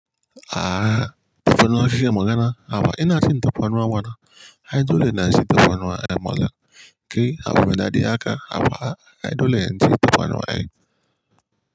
Aha, tufanuwa kike magana, haba ina cin tufan ruwa mana. Ai dole na ci tufan ruwa ai malam. Ke abin da dadi haka, hava ai dole in ci tufan ruwa ai.